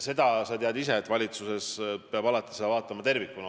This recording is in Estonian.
Seda sa tead ise, et valitsuses peab alati vaatama asju tervikuna.